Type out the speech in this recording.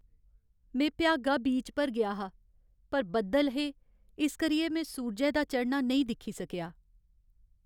में भ्यागा बीच पर गेआ हा, पर बद्दल हे इस करियै में सूरजै दा चढ़ना नेईं दिक्खी सकेआ।